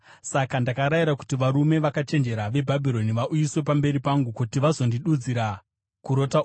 Saka ndakarayira kuti varume vakachenjera veBhabhironi vauyiswe pamberi pangu kuti vazondidudzira kurota uku.